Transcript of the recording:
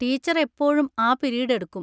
Teacher എപ്പോഴും ആ period എടുക്കും.